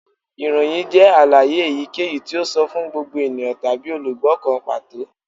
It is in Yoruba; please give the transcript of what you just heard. Iroyin jẹ alaye eyikeyi ti o sọ fun gbogbo eniyan tabi olugbo kan pato